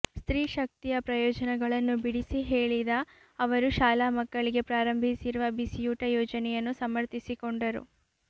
ಸ್ತ್ರೀ ಶಕ್ತಿಯ ಪ್ರಯೋಜನಗಳನ್ನು ಬಿಡಿಸಿ ಹೇಳಿದ ಅವರು ಶಾಲಾ ಮಕ್ಕಳಿಗೆ ಪ್ರಾರಂಭಿಸಿರುವ ಬಿಸಿಯೂಟ ಯೋಜನೆಯನ್ನು ಸಮರ್ಥಿಸಿಕೊಂಡರು